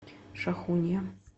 шахунья